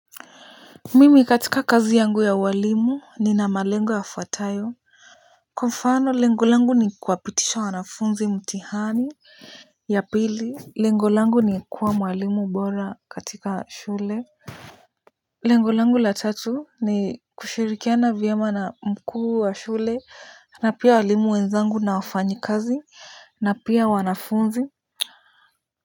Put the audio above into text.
Mimi katika kazi yangu ya ualimu nina malengo yafuatayo. Kwa mfano lengo langu ni kuwapitisha wanafunzi mtihani. Ya pili, lengo langu ni kuwa mwalimu bora katika shule. Lengo langu la tatu ni kushirikiana vyema na mkuu wa shule na pia walimu wenzangu na wafanyikazi na pia wanafunzi.